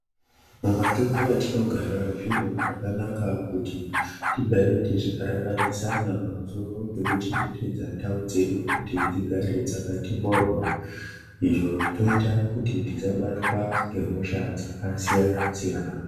Mumatunhu atinogara zvinhu zvakanaka kuti tigare techikarakadzana pamusoro pekuchengetedza ndau dzedu kuti dzigare dzakati mhoryo izvo zvinoita kuti tisabatwa ngehosha dzakasiyanasiyana.